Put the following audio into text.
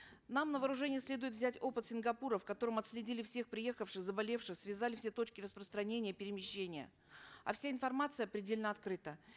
нам на вооружение следует взять опыт сингапура в котором отследили всех приехавших заболевших связали все точки рапространения и перемещения а вся информация предельно открыта